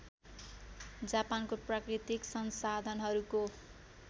जापानको प्राकृतिक संसाधनहरूको